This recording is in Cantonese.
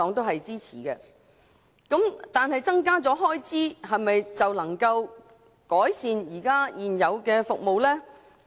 然而，增加開支是否就能改善現有服務？